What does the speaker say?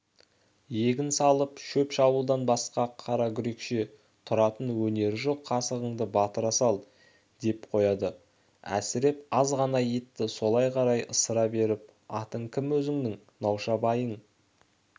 егін салып шөп шабудан басқа қара гүрешке тұратын өнері жоқ қасығыңды батыра сал деп қояды әсіреп аз ғана етті солай қарай ысыра беріп атың кім өзіңнің науша байыңның